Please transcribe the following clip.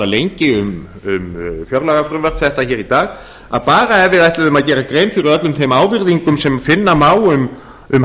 lengi um fjárlagafrumvarp þetta hér í dag að bara ef við ætluðum að gera grein fyrir öllum þeim ávirðingum sem finna má um hagstjórnina